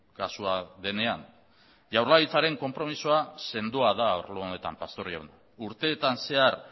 kasua denean jaurlaritzaren konpromezua sendoa da arlo honetan pastor jauna urteetan zehar